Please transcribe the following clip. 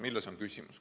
Milles on küsimus?